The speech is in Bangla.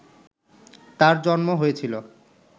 তাঁর জন্ম হয়েছিল